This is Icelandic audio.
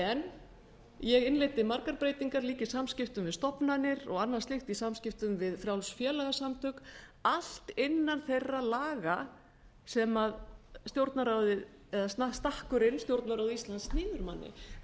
en ég innleiddi margar breytingar líka í samskiptum við stofnanir og annað slíkt í samskiptum við frjáls félagasamtök allt innan þeirra laga sem stjórnarráðið eða stakkurinn stjórnarráð íslands en